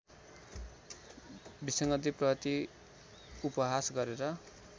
विसङ्गतिप्रति उपहास गरेर